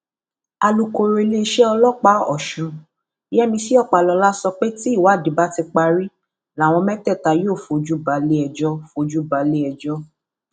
alūkọrọ iléeṣẹ ọlọpàá ọsùn yẹmísì ọpàlọlá sọ pé tí ìwádìí bá ti parí làwọn mẹtẹẹta yóò fojú balẹẹjọ fojú balẹẹjọ